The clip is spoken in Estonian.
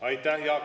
Aitäh!